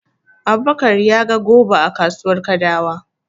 Abubakar ya ga goba a kasuwar Kadawa.